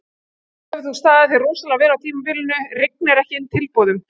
Nú hefur þú staðið þig rosalega vel á tímabilinu, rignir ekki inn tilboðum?